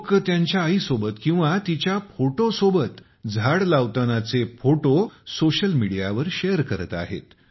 लोकं त्यांच्या आईसोबत किंवा तिच्या फोटोसोबत झाडे लावतानाचे फोटो सोशल मीडियावर शेअर करत आहेत